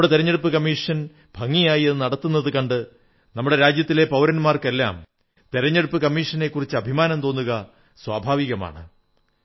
നമ്മുടെ തിരഞ്ഞെടുപ്പു കമ്മീഷൻ ഭംഗിയായി അതു നടത്തുന്നതു കണ്ട് നമ്മുടെ രാജ്യത്തെ പൌരന്മാർക്കെല്ലാം തിരഞ്ഞെടുപ്പു കമ്മീഷനെക്കുറിച്ച് അഭിമാനം തോന്നുക സ്വാഭാവികമാണ്